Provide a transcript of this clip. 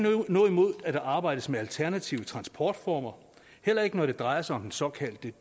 noget imod at der arbejdes med alternative transportformer heller ikke når det drejer sig om den såkaldte